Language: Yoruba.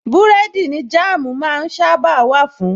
Búrẹ́dì ni Jáàmú máa ń sábàa wà fun